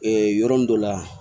yɔrɔ min dɔ la